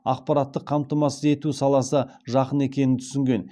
ақпараттық қамтамасыз ету саласы жақын екенін түсінген